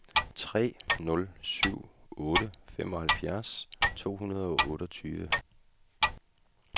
tre nul syv otte femoghalvfjerds to hundrede og otteogtyve